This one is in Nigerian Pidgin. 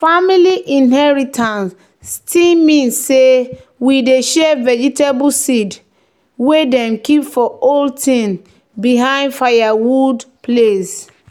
"family inheritance still mean say we dey share vegetable seed wey dem keep for old tin behind firewood place."